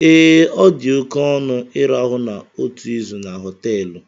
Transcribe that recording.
Ee, ọ dị oke ọnụ ịrahụ otu izu na họteelụ